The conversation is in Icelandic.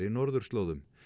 norðurslóðum